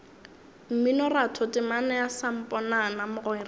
mminoratho temana ya samponana mogwera